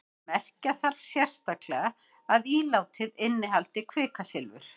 merkja þarf sérstaklega að ílátið innihaldi kvikasilfur